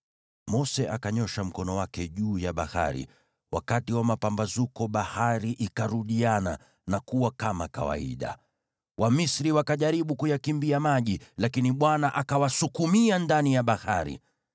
Mose akanyoosha mkono wake juu ya bahari, wakati wa mapambazuko bahari ikarudiana na kuwa kama kawaida. Wamisri wakajaribu kuyakimbia maji, lakini Bwana akawasukumia ndani ya bahari.